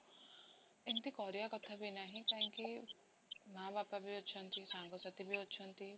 ଏମିତି କରିବା କଥାବି ନାହିଁ କାହିଁକି ମାଁ ବାପାବି ଅଛନ୍ତି, ସାଙ୍ଗ ସାଥୀ ବି ଅଛନ୍ତି